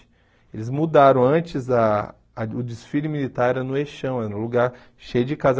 Eles mudaram antes, ah a o desfile militar era no Eixão, era um lugar cheio de casa.